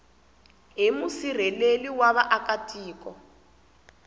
hi musirheleli wa vaaka tiko